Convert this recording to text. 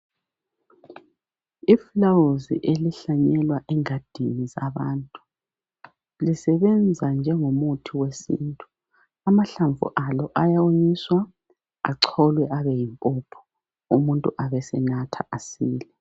Ifulawuzi elihlanyelwa engadini ngabantu lisebenza njengomuthi wesintu. Amahlamvu alo ayawonyiswa acholwe abe yimpuphu umuntu abe senatha asile.